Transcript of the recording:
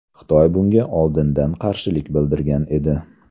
Xitoy bunga oldindan qarshilik bildirgan edi.